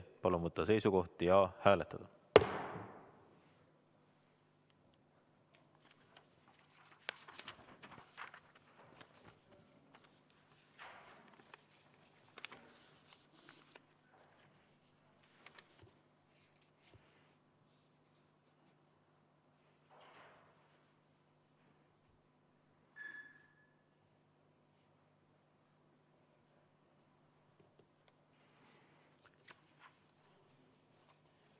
Palun võtta seisukoht ja hääletada!